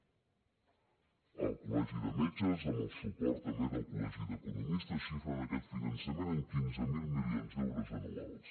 el col·legi de metges amb el suport també del col·legi d’economistes xifren aquest finançament en quinze mil milions d’euros anuals